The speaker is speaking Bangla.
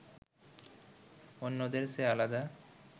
অন্যদের চেয়ে আলাদা